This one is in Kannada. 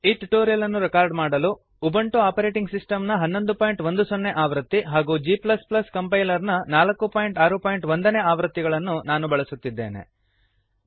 ಈ ಟ್ಯುಟೋರಿಯಲ್ ಅನ್ನು ರೆಕಾರ್ಡ್ ಮಾಡಲು ಉಬುಂಟು ಆಪರೇಟಿಂಗ್ ಸಿಸ್ಟಮ್ ನ 1110 ಆವೃತ್ತಿ ಹಾಗೂ g ಕಂಪೈಲರ್ ನ 461 ನೇ ಆವೃತ್ತಿಗಳನ್ನು ನಾನು ಬಳಸುತ್ತಿದ್ದೇನೆ